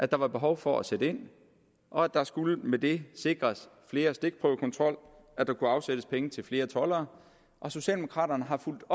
der var behov for at sætte ind og der skulle med det sikres flere stikprøvekontroller og at der kunne afsættes penge til flere toldere socialdemokraterne har fulgt